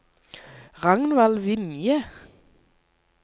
Ragnvald Vinje